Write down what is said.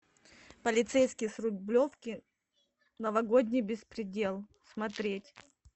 полицейский с рублевки новогодний беспредел смотреть